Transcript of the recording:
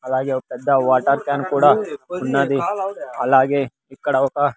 అలాగే ఒ పెద్ద వాటర్ క్యాన్ కూడా ఉన్నది అలాగే ఇక్కడ ఒక --